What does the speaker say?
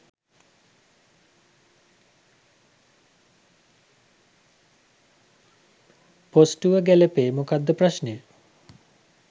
පොස්ටුව ගැලපේ මොකක්ද ප්‍රශ්නය?